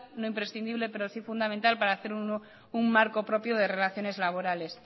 no es imprescindible pero sí fundamental para hacer un marco propio de relaciones laborales